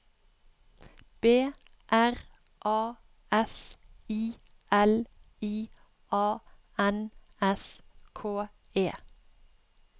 B R A S I L I A N S K E